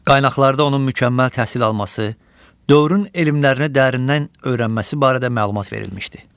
Qaynaqlarda onun mükəmməl təhsil alması, dövrün elmlərini dərindən öyrənməsi barədə məlumat verilmişdi.